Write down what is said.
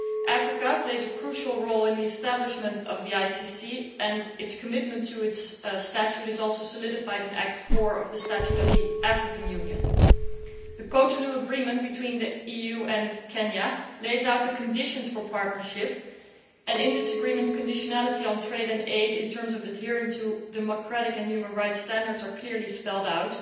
Africa played a crucial role in the establishment of the ICC and its commitment to the court's Statute is also reinforced in Article 4 of the Constitutive Act of the African Union. The Cotonou Agreement between the EU and Kenya lays down the conditions for partnership, and in this agreement conditionality on trade and aid in terms of adhering to democratic and human rights standards are clearly spelled out.